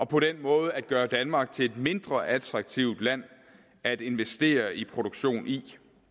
på den måde gør den danmark til et mindre attraktivt land at investere i produktion i